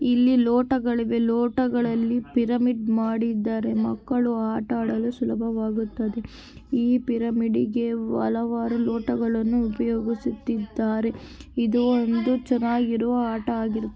ಇಲ್ಲಿ ಲೋಟಗಳಿವೆ ಲೋಟಗಳಲ್ಲಿ ಪಿರಮಿಡ್ ಮಾಡಿದ್ದಾರೆ ಮಕ್ಕಳು ಆಟ ಆಡಲು ಸುಲಭವಾಗುತ್ತದೆ ಇ ಪಿರ್ಮೆಡ್ಗೆ ಹಲವಾರು ಲೋಟಗಳನ್ನು ಉಪಯೋಗಿಸುತ್ತಿದ್ದಾರೆ ಇದು ಒಂದು ಚೆನ್ನಾಗಿರುವ ಆಟವಾಗಿರುತ್ತದೆ --